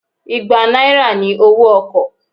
Igbá náírà ni owó ọkọ̀